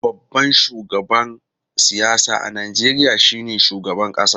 Babban shugaban siyasa a Najeriya shine shugaban kasa.